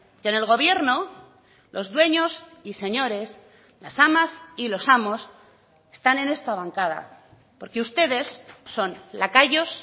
que en el gobierno los dueños y señores las amas y los amos están en esta bancada porque ustedes son lacayos